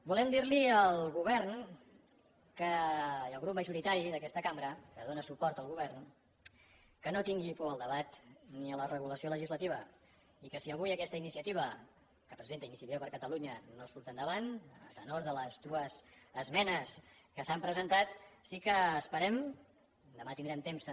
volem dir al govern i al grup majoritari d’aquesta cambra que dóna suport al govern que no tingui por al debat ni a la regulació legislativa i que si avui aquesta iniciativa que presenta iniciativa per catalunya no surt endavant a tenor de les dues esmenes que s’han presentat sí que esperem demà tindrem temps també